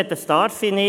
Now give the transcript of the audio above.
Dies darf ich nicht.